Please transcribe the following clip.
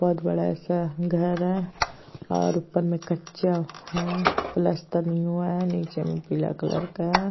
बहोत बड़ा ऐसा घर है और ऊपर में कच्चा हैं। पलस्तर नहीं हुआ है। नीचे में पीला कलर का है।